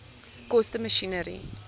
koste masjinerie